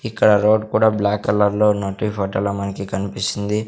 ఇక్కడ రోడ్ కూడా black colour లో ఉన్నట్టు ఈ ఫొటో లో మనకి కన్పిస్తుంది.